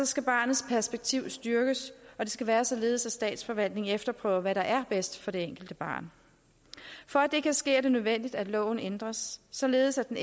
skal barnets perspektiv styrkes og det skal være således at statsforvaltningen efterprøver hvad der er bedst for det enkelte barn for at det kan ske er det nødvendigt at loven ændres således at den